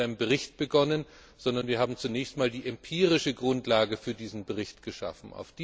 Wir haben nicht mit einem Bericht begonnen, sondern zunächst einmal die empirische Grundlage für diesen Bericht geschaffen.